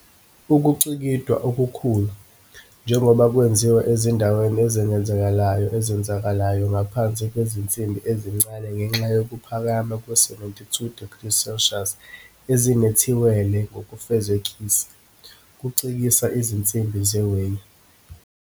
Ukucikidwa okukhulu njengoba kwenziwe ezindaweni ezenzakalelayo ezenzakalelayo ngaphansi kwezinsimbi ezincane ngenxa yokuphakama kwe-72 degrees Celcius ezinethiwele ngokufezekisa kucikisa izinsimbi zewhey.